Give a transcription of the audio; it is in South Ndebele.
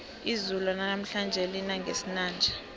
izulu lanamhlanje lina ngesinanja